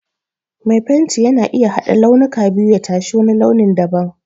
Mai fenti yana iya haɗa launuka biyu ya tashi wani launin da ban.